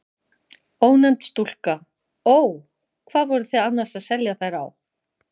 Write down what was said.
Ónefnd stúlka: Ó. Hvað voru þið annars að selja þær á?